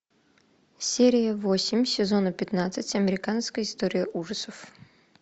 серия восемь сезона пятнадцать американская история ужасов